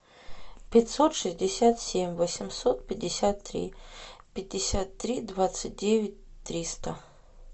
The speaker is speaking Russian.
пятьсот шестьдесят семь восемьсот пятьдесят три пятьдесят три двадцать девять триста